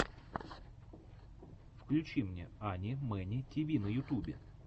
включи мне ани мэни тиви на ютюбе